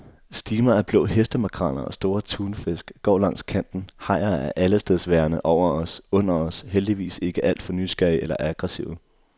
Stimer af blå hestemakreller og store tunfisk går langs kanten, hajer er allestedsværende, over os, under os, heldigvis ikke alt for nysgerrige eller aggressive.